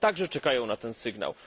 Oni także czekają na ten sygnał.